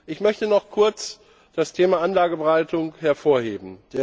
Ich möchte noch kurz das Thema Anlageberatung hervorheben.